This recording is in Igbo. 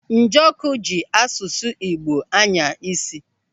Njọkụ ji asụsụ Igbo anya isi.